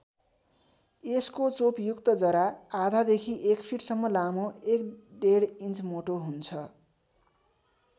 यसको चोपयुक्त जरा आधादेखि एक फिटसम्म लामो एकडेढ इन्च मोटो हुन्छ।